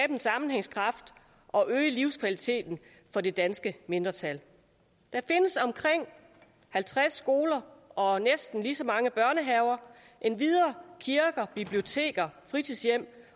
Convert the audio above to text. en sammenhængskraft og øge livskvaliteten for det danske mindretal der findes omkring halvtreds skoler og næsten lige så mange børnehaver endvidere er kirker biblioteker fritidshjem